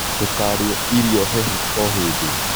Ndũkarie irio hehu hĩndĩ o hĩndĩ